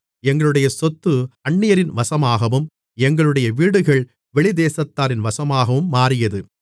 எங்களுடைய சொத்து அந்நியரின் வசமாகவும் எங்களுடைய வீடுகள் வெளித்தேசத்தாரின் வசமாகவும் மாறியது